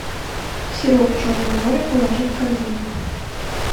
сироп черное море положи в корзину